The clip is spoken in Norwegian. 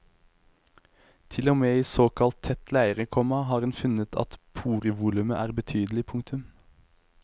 Til og med i såkalt tett leire, komma har en funnet at porevolumet er betydelig. punktum